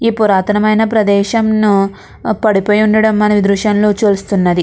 ఈ పురాతనమైన ప్రదేశంను పడిపోయి ఉండడం మన దృశ్యంలో చూస్తున్నది.